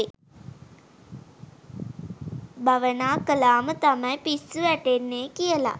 භවනා කළා ම තමයි පිස්සු වැටෙන්නේ කියලා.